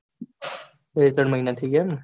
બે ત્રણ મહિના થાય ગયા એમને.